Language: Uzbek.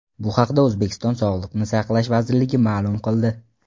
Bu haqda O‘zbekiston Sog‘liqni saqlash vazirligi ma’lum qildi .